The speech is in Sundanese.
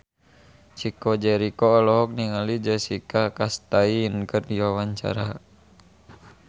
Chico Jericho olohok ningali Jessica Chastain keur diwawancara